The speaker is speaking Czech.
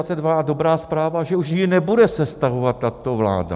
A dobrá zpráva - že už jej nebude sestavovat tato vláda.